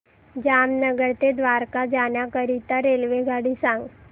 जामनगर ते द्वारका जाण्याकरीता रेल्वेगाडी सांग